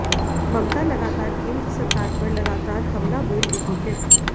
ममता लगातार केंद्र सरकार पर लगातार हमला बोल रही हैं